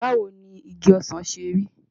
Báwo ni igi ọsàn ṣe rí?